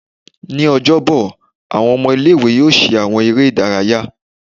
Ni Ọjọbọ, awọn ọmọ ile-iwe yóò ṣe awọn eré ìdárayá